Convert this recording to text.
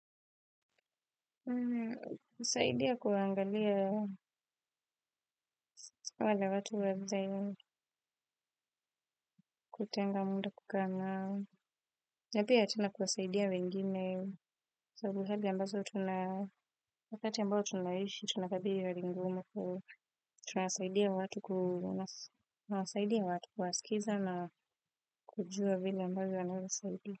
Kasaidia kuangalia wale watu wazee, kutenga muda kukaa nao. Na pia tena kuwasaidia wengine. So ni hali ambazo tuna wakati ambao tunaishi tunakabili hali ngumu tunasaidia watu kuwasikiza na kujua vile ambavyo wanaeza saidia.